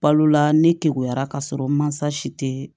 Balola ne te bɔyara ka sɔrɔ mansa si tɛ